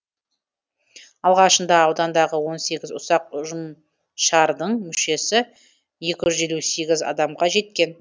алғашында аудандағы он сегіз ұсақ ұжымшардың мүшесі екі жүз елу сегіз адамға жеткен